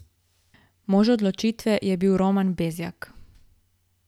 Mož odločitve je bil Roman Bezjak.